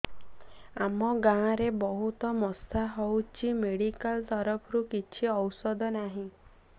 ଆମ ଗାଁ ରେ ବହୁତ ମଶା ହଉଚି ମେଡିକାଲ ତରଫରୁ କିଛି ଔଷଧ ନାହିଁ